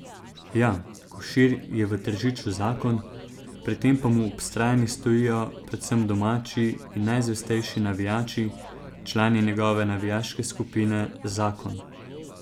Ja, Košir je v Tržiču zakon, pri tem pa mu ob strani najbolj stojijo predvsem domači in najzvestejši navijači, člani njegove navijaške skupine Zakon.